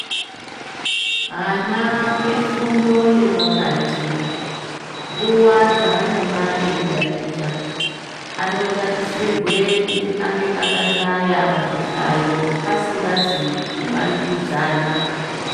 Ana efundo yepakati, nguwa dzeanonga eitaticha, anotarisirwe kuti kunge akahlaya pazvihlayo asingazi kumanikidzana.